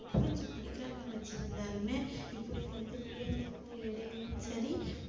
புரிஞ்சி படிக்கிறாங்கன்னு வச்சிருந்தாலுமே இப்படி வந்து பிள்ளைங்களுக்கு இடையிலேயும் சரி